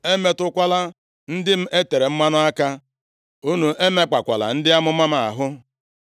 “Unu emetụkwala ndị m e tere mmanụ aka, unu emekpakwala ndị amụma m ahụ.”